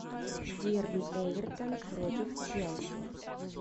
дерби эвертон против челси